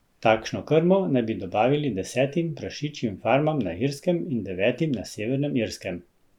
Takšno krmo naj bi dobavili desetim prašičjim farmam na Irskem in devetim na Severnem Irskem.